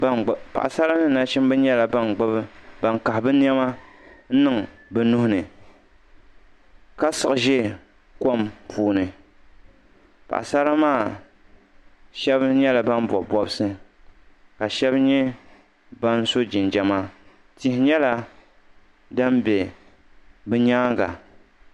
Paɣisara ni nachimba nyɛla ban kahi bɛ nɛma n-niŋ bɛ nuhi ni ka siɣi ʒe kom puuni paɣisara maa shɛba nyɛla ban bɔbi bɔbisi ka shɛba nyɛ ban bɔbi bɔbisi tihi nyɛla din be bɛ nyaaŋa.